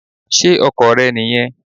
Ṣé ọkọ̀ rẹ nì yẹn?